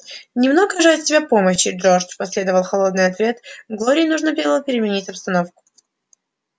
немного же от тебя помощи джордж последовал холодный ответ глории нужно переменить обстановку